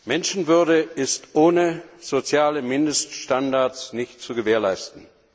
Menschenwürde ist ohne soziale Mindeststandards nicht zu gewährleisten.